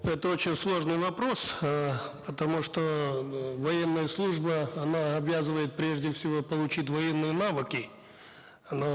это очень сложный вопрос э потому что эээ военная служба она обязывает прежде всего получить военные навыки но